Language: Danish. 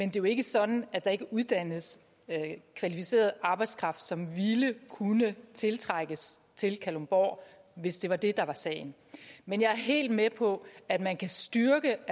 er jo ikke sådan at der ikke uddannes kvalificeret arbejdskraft som ville kunne tiltrækkes til kalundborg hvis det var det der var sagen men jeg er helt med på at man kan styrke